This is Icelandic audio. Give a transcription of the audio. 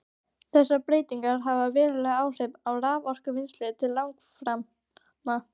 Þessar breytingar hafa veruleg áhrif á raforkuvinnslu til langframa.